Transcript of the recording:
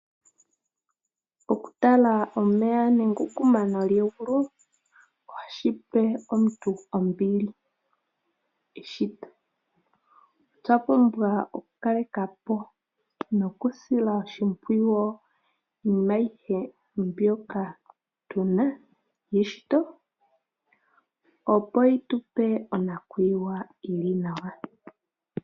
Okutala omeya nenge okumana kegulu ohashi pe omuntu ombili, eshito. Otwa pumbwa okukaleka po nokusila oshimpwiyu iinima ayihe mbyoka tu na yeshito, opo yi tu pe onakuyiwa yi li nawa.